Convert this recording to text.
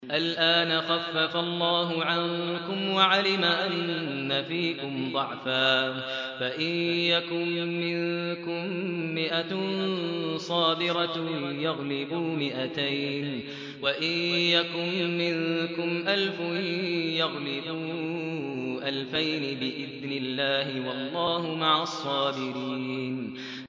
الْآنَ خَفَّفَ اللَّهُ عَنكُمْ وَعَلِمَ أَنَّ فِيكُمْ ضَعْفًا ۚ فَإِن يَكُن مِّنكُم مِّائَةٌ صَابِرَةٌ يَغْلِبُوا مِائَتَيْنِ ۚ وَإِن يَكُن مِّنكُمْ أَلْفٌ يَغْلِبُوا أَلْفَيْنِ بِإِذْنِ اللَّهِ ۗ وَاللَّهُ مَعَ الصَّابِرِينَ